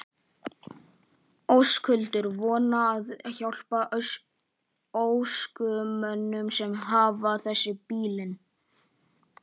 Höskuldur: Svona að hjálpa ökumönnum sem hafa fest bílinn?